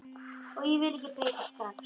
Og ég vil ekki breytast strax.